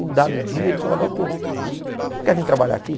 Um dado dia ele falou, Adalto, você não quer vir trabalhar aqui?